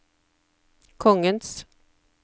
kongens